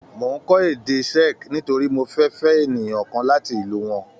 Mò ń kọ́ èdè Czech nítorí mo fẹ́ fẹ́ ènìyàn kan láti ìlú wọn.